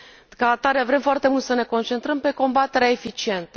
Ca atare, vrem foarte mult să ne concentrăm pe combaterea eficientă.